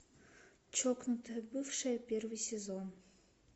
чокнутая бывшая первый сезон